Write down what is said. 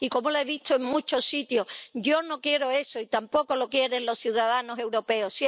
Y como lo he visto en muchos sitios, yo no quiero eso, y tampoco lo quieren los ciudadanos europeos.